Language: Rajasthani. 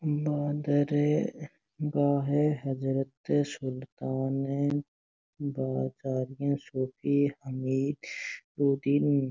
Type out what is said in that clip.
दरगाह हज़रत सुल्तानुत्तारकीन सूफी हमीउद्दीन।